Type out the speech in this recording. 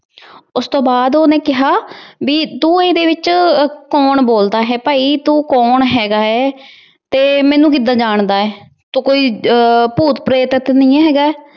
ਉਸਤੋਂ ਬਾਅਦ ਉਹਨੇ ਕਿਹਾ ਬੀ ਤੂੰ ਇਹਦੇ ਵਿੱਚ ਕੋਣ ਬੋਲਦਾ ਹੈ ਭਾਈ? ਤੂੰ ਕੋਣ ਹੈਗਾ ਹੈ ਅਹ ਤੇ ਮੈਨੂੰ ਕਿਦਾ ਜਾਣਦਾ ਐ? ਤੂੰ ਕੋਈ ਭੂਤ ਪ੍ਰੇਤ ਤੇ ਨਹੀਂ ਹੈਗਾ?